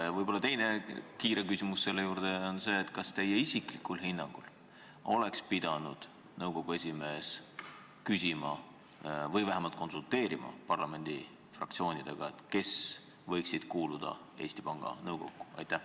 Ja võib-olla teine kiire küsimus ka selle juurde: kas teie isiklikul hinnangul oleks nõukogu esimees pidanud vähemalt konsulteerima parlamendi fraktsioonidega ja arutama, kes võiksid kuuluda Eesti Panga Nõukokku?